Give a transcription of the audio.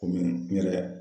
Komi n yɛrɛ